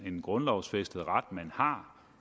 en grundlovsfæstet ret man har